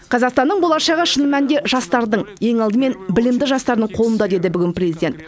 қазақстанның болашағы шын мәнінде жастардың ең алдымен білімді жастардың қолында деді бүгін президент